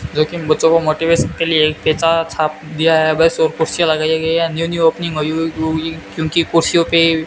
जोकि इन बच्चों को मोटिवेशन के लिए केचारा छाप दिया है बस और कुर्सियां लगाई गई हैं क्योंकि खुशियों पे --